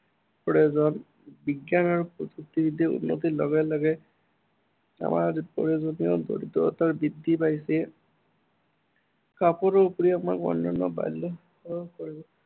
প্ৰয়োজন। বিজ্ঞান আৰু প্ৰযুক্তিবিদ্য়াৰ উন্নতিৰ লগে লগে, আমাৰ প্ৰয়োজনীয় দক্ষতা বৃদ্ধি পাইছে। কাপোৰৰ উপৰিও আমাক অন্য়ান্য়